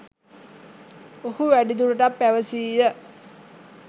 ඔහු වැඩිදුරටත් පැවැසීය